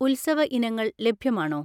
ഉത്സവ ഇനങ്ങൾ ലഭ്യമാണോ?